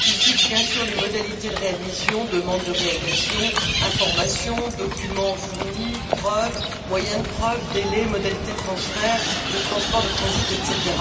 Il fixe bien sûr les modalités de réadmission demandes de réadmission, informations, documents fournis, preuves, moyens de preuve, délais, modalités de transfert, de transport, de transit, etc.,